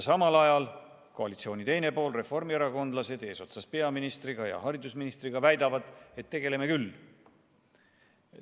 Samal ajal koalitsiooni teine pool, reformierakondlased eesotsas peaministri ja haridusministriga väidavad, et tegeleme küll.